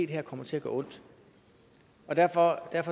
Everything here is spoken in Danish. det her kommer til at gøre ondt derfor